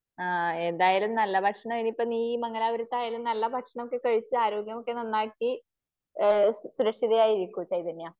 ആ എന്തായാലും നല്ല ഭക്ഷണം ഇനിയിപ്പോ നീ മംഗലാപുരത്തായാലും നല്ല ഭക്ഷണമൊക്കെ കഴിച്ച് ആരോഗ്യമൊക്കെ നന്നാക്കി സുരക്ഷിതയായിരിക്കൂ ചൈതന്യാ.